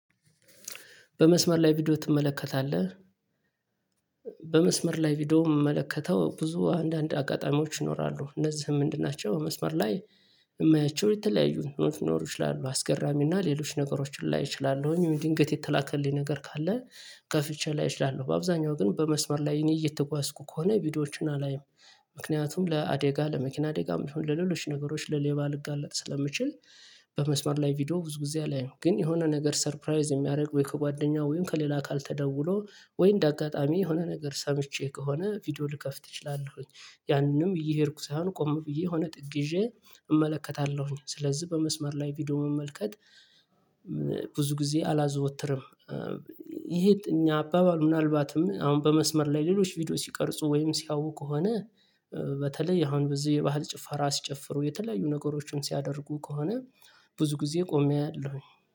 በመስመር ላይ ቪዲዮ ትመለከታለህ? በመስመር ላይ ቪዲዮ የምመለከተው ብዙ አንዳንድ አጋጣሚዎች ይኖራሉ እነዚህ ምንድን ናቸው በመስመር ላይ የማያቸው የተለያዩን ምንድነው ይች ላሉ እና ሌሎች ነገሮችን ላይ እችላለሁኝ ወይ ድንገት የተላከልኝ ነገር ካለ ከፍቼ ላይ እችላለሁ በአብዛኛው ግን በመስመር ላይ እኔ እየተጓዝኩ ከሆነ ቪዲዮዎችን አላይም ምክንያቱም ለአደጋ ለመኪና አደጋም የሆነ ለሌሎች ነገሮች ለሌባ ልጋለጥ ስለምችል በመስመር ላይ ቪዲዮ ብዙ ጊዜ አላየይም ግን የሆነ ነገር ሰርፕራይዝ የሚያደርግ ወይ ከጓደኛ ወይም ከሌላ አካል ተደውሎ ወይ እንደ አጋጣሚ የሆነ ነገር ሰምቼ ከሆነ ቪዲዮ ልከፍት እችላለሁኝ ያንንም እየሄድኩ ሳይሆን ቆም ብዬ የሆነ ጥግ ይዤ እመለከታለሁኝ ስለዚህ በመስመር ላይ ቪዲዮ መመልከት ብዙ ጊዜ አላዘወትርም ይሄ እኛ አባባሉ ምናልባትም አሁን በመስመር ላይ ሌሎች ቪዲዮ ሲቀርጹ ወይም ሲያዩ ከሆነ በተለይ አሁን በዚህ የባህል ጭፈራ ሲጨፍሩ የተለያዩ ነገሮችን ሲያደርጉ ከሆነ ብዙ ጊዜ ቆሜ አያለሁኝ